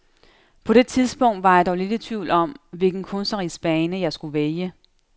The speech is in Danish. På det tidspunkt var jeg dog lidt i tvivl om, hvilken kunstnerisk bane jeg skulle vælge.